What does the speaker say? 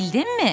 Bildinmi?